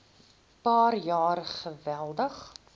paar jaar geweldig